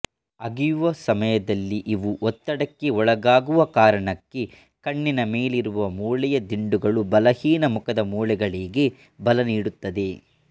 ಅಗಿಯುವ ಸಮಯದಲ್ಲಿ ಇವು ಒತ್ತಡಕ್ಕೆ ಒಳಗಾಗುವ ಕಾರಣಕ್ಕೆ ಕಣ್ಣಿನ ಮೇಲಿರುವ ಮೂಳೆಯ ದಿಂಡುಗಳು ಬಲಹೀನ ಮುಖದ ಮೂಳೆಗಳಿಗೆ ಬಲ ನೀಡುತ್ತವೆ